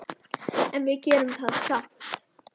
En við gerum það samt.